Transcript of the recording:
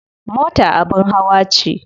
Mota abin hawa ce.